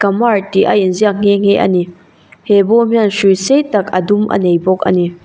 kumar tih a inziak nghe nghe a ni he bawm hian hrui sei tak a dum a nei bawk a ni.